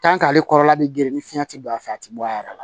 ale kɔrɔla bɛ girin ni fiɲɛ tɛ don a fɛ a tɛ bɔ a yɛrɛ la